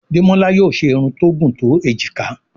Demola yóò ṣe Irun tó gún to ejika.